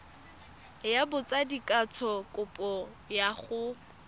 ya botsadikatsho kopo ya go